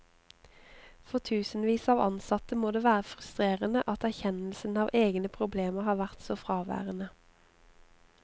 For tusenvis av ansatte må det være frustrerende at erkjennelsen av egne problemer har vært så fraværende.